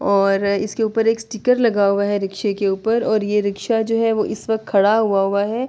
اور اسکے اپر سٹیکر لگا ہوا ہے رکسے کے اپر اور یہ رکشا جو ہے اس وقت کھڈا ہوا ہوا ہے۔